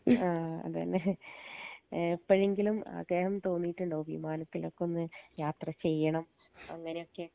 ആ അതെ ലെ എപ്പഴെങ്കിലും അഗയം തോന്നീട്ടുണ്ടോ വിമാനത്തിലൊകൊന്ന് യാത്ര ചെയ്യണം അങ്ങനൊക്കെ